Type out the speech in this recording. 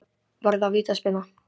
Var það vítaspyrna?